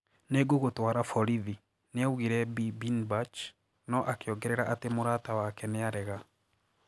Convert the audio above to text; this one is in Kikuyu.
Ningugutwara borithi " niaugire Bi Birnbach, no akiongerera ati mũrata wake niarega.